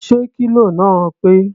Ṣé kílò náà pé?